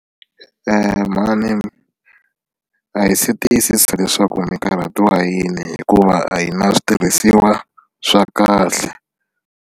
Mhani a hi se tiyisisa leswaku mikarhatiwa yini hikuva a hi na switirhisiwa swa kahle.